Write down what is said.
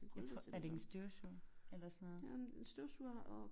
Jeg tror er det ikke en støvsuger eller sådan noget?